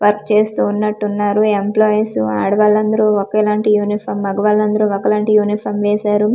Work చేస్తూ ఉన్నట్టున్నారు employees ఆడవాళ్ళందరూ ఒకేలాంటి యూనిఫామ్ మగవాళ్ళందరూ ఒకలాంటి యూనిఫామ్ వేశారు.